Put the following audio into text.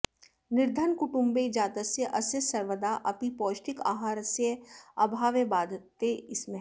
निर्धनकुटुम्बे जातस्य अस्य सर्वदा अपि पौष्टिकाहारस्य अभावः बाधते स्म